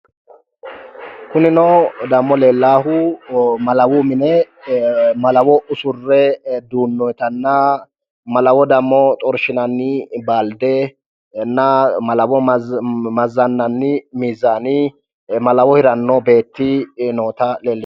kunino dammo leellahhau malawu mine malawo usurre duunnoyiitanna malawo dammo xorshinanni baaldenna malawo mazzannanni miizaninna malawo hiranno beetti leellanno